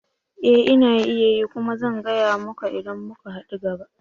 Ee! Ina yi kuma zan gaya muka idan muka hadu gaba